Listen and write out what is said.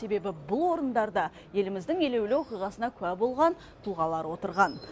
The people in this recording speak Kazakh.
себебі бұл орындарда еліміздің елеулі оқиғасына куә болған тұлғалар отырған